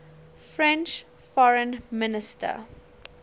french foreign minister